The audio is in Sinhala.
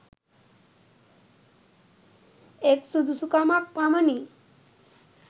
එක් සුදුසුකමක් පමණි